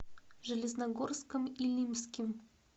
железногорском илимским